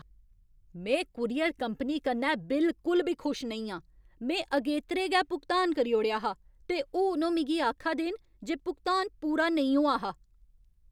में courier company कन्नै बिलकुल बी खुश नेईं आं। में अगेतरे गै भुगतान करी ओड़ेआ हा, ते हून ओह् मिगी आखा दे न जे भुगतान पूरा नेईं होआ हा!